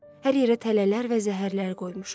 Hər yerə tələlər və zəhərlər qoymuşuq.